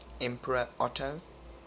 emperor otto